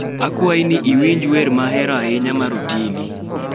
Akwayi ni iwinja wer ma ahero ahinya mar Otili